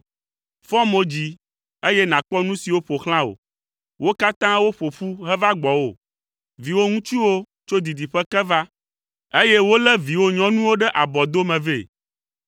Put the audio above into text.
“Fɔ mo dzi, eye nàkpɔ nu siwo ƒo xlã wò. Wo katã woƒo ƒu heva gbɔwò, viwò ŋutsuwo tso didiƒe ke va, eye wolé viwò nyɔnuwo ɖe abɔdome vɛ.